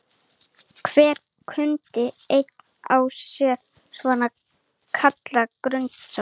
Hver bundin eind á sér svo kallað grunnástand.